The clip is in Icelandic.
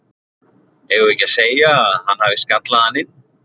Eigum við ekki að segja að hann hafi skallað hann inn?